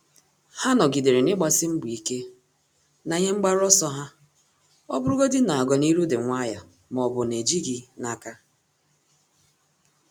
Há nọ́gídèrè n’ị́gbàsí mbọ ike na ihe mgbaru ọsọ ha ọ́ bụ́rụ́godị na ọ́gànihu dị̀ nwayọ́ọ́ ma ọ́ bụ nà-éjíghị́ n’áká.